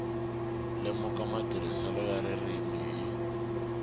lemuka matirhiselo ya ririmi hi